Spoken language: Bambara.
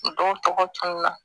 Dɔw tɔgɔ tununa